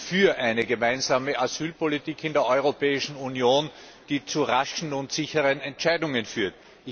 Ich bin für eine gemeinsame Asylpolitik in der Europäischen Union, die zu raschen und sicheren Entscheidungen führt.